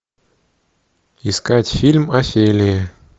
искать фильм офелия